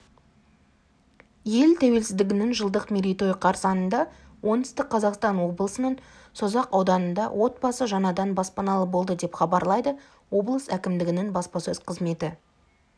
ел тәуелсіздігінің жылдық мерейтойы қарсаңында оңтүстік қазақстан облысының созақ ауданында отбасы жаңадан баспаналы болды деп хабарлайды облыс әкімдігінің баспасөз қызметі